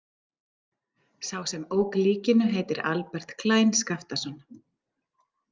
Sá sem ók likinu heitir Albert Klein Skaftason.